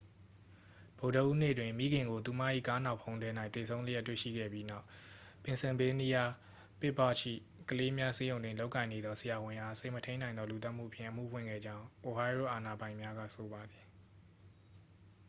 ဗုဒ္ဓဟူးနေ့တွင် မိခင်ကို သူမ၏ ကားနောက်ဖုံးထဲ၌ သေဆုံးလျက် တွေ့ရှိခဲ့ပြီးနောက် ပင်ဆယ်ဗေးနီးယား ပစ်ဘာ့ဂျ်၏ ကလေးများဆေးရုံတွင် လုပ်ကိုင်နေသော ဆရာဝန်အား စိတ်မထိန်းနိုင်သော လူသတ်မိမှုဖြင့် အမှုဖွင့်ခဲ့ကြောင်း အိုဟိုင်းရိုး အာဏာပိုင်များက ဆိုပါသည်